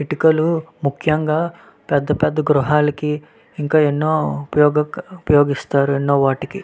ఎత్తుకలు ముక్యము గ పేద పేద గృహలకి ఉపోయోగిస్తారు. ఇంకా అనో వాటికీ ఒపోయోగిస్తారు.